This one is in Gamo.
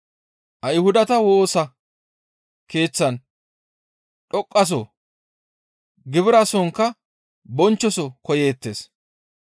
Ayhudata Woosa Keeththan dhoqqaso, gibirasonkka bonchchoso koyeettes.